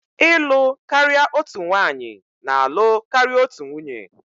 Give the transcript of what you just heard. ịlụ karịa otu nwanyị na-alụ karịa otu nwunye